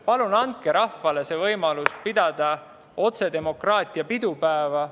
Palun andke rahvale võimalus pidada otsedemokraatia pidupäeva.